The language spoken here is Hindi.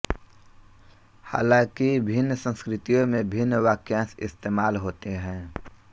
हालांकि भिन्न संस्कृतियों में भिन्न वाक्यांश इस्तेमाल होते हैं